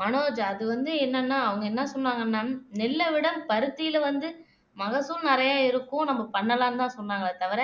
மனோஜ் அது வந்து என்னன்னா அவங்க என்ன சொன்னாங்கன்னா நெல்ல விட பருத்தியில வந்து மகசூல் நிறைய இருக்கும் நம்ம பண்ணலாம்தான் சொன்னாங்களே தவிர